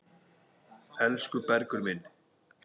Elsku Bergur minn.